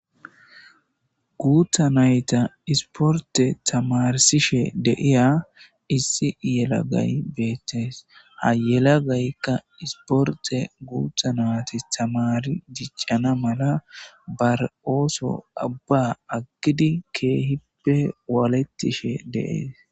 Guutha nayta isporte tamarsishe deiya issi yelagay beettees. Ha yelagaykka isporte guuthanati tamari jiccana mala bar ooso abba aggidi keehippe waalettishe deees.